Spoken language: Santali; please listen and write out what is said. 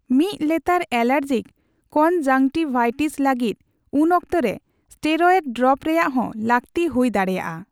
ᱢᱤᱫ ᱞᱮᱛᱟᱲ ᱮᱞᱟᱨᱡᱤᱠ ᱠᱚᱱᱡᱟᱝᱴᱤᱵᱵᱷᱟᱭᱴᱤᱥ ᱞᱟᱹᱜᱤᱫ ᱩᱱᱚᱠᱛᱮ ᱨᱮ ᱥᱴᱮᱨᱭᱮᱰ ᱰᱨᱚᱯ ᱨᱮᱭᱟᱜ ᱦᱚᱸ ᱞᱟᱹᱠᱛᱤ ᱦᱩᱭ ᱫᱟᱲᱮᱜᱼᱟ ᱾